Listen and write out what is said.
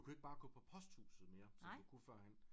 Du kan ikke bare gå på posthuset mere som du kunne førhen